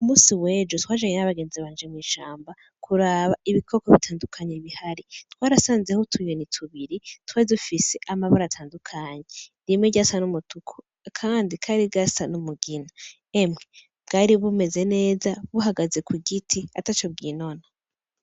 Umunsi wejo twajanye 'abagenzi mw'ishamba kuraba ibikoko bitandukanye bihari twarasanzeho utunyoni tubiri twari dufise amabara atandukanye rimwe ryasa n' umutuku akandi kari gasa n'umugina emwe bwari bumeze neza buhagaze kugiti ataco bwinona.